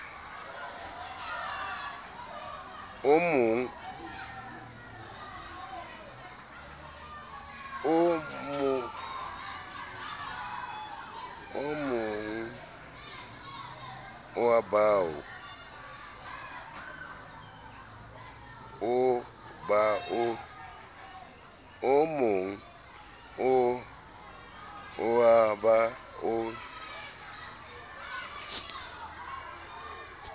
o mogn oo ba o